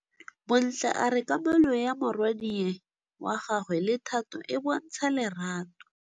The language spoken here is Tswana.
Bontle a re kamanô ya morwadi wa gagwe le Thato e bontsha lerato.